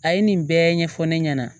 A ye nin bɛɛ ɲɛfɔ ne ɲɛna